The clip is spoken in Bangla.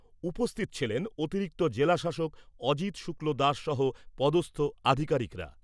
উপস্থিত ছিলেন অতিরিক্ত জেলা শাসক অজিত শুক্লদাস সহ পদস্থ আধিকারিকরা।